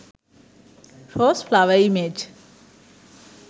rose flower image